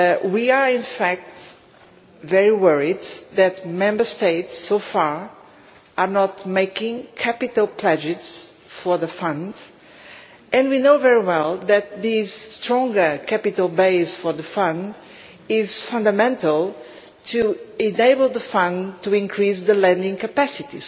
We are, in fact, very worried that Member States are not so far making capital pledges for the Fund and we know very well that this stronger capital base for the Fund is fundamental to enable the Fund to increase its lending capacity